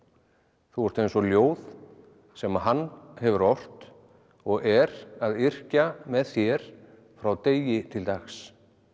þú ert eins og ljóð sem hann hefur ort og er að yrkja með þér frá degi til dags